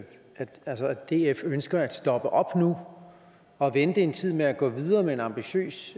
df ønsker at stoppe op nu og vente en tid med at gå videre med en ambitiøs